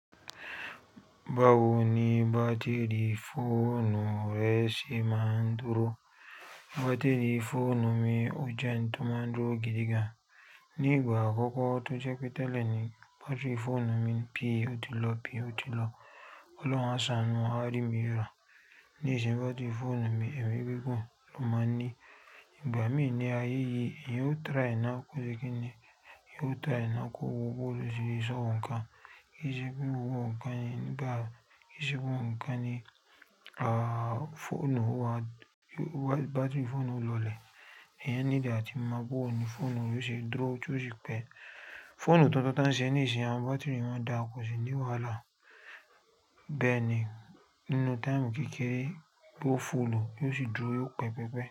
Báwo ni bátìrì fóònù rẹ ṣe máa ń dúró? Bátìrì fóònù mi ọ je ń tó máa ń dúró gidigan. Ní ìgbà àkọ́kọ́ tó jẹ́ pé tẹ́lẹ̀ ni bátìrì fóònù mi pi ó ti lọ, pi ó ti lọ. Ọlọ́run àṣánù a rí mi ra. Ní ìsin bátìrì fóònù mi ẹ̀mi gígun ló máa ń ní. Ìgbà mí ní ayé yìí, èyàn o try náà kó ṣe kí ni? Ìyẹn o try náà kó wo bo lọ se sóhun kan. Kí ì ṣe pé ó wo ǹkàn yen nigba, kí ì ṣe gbogbo ǹkàn ní, aah, fóònù wa, bátìrì fóònù lọlẹ̀. Èèyàn need àti mo booní fóònù re yóò ṣe dúró kí ó sì pẹ́. Fóònù tuntun tí wọ́n ṣe ní ìsin, àwọn bátìrì wọn dà kò ṣì ní wàhálà. Bẹ́ẹ̀ ni, nínú táìmù kékeré, bó fóònù yóò sì dúró, yóò pẹ́ pẹpẹ́.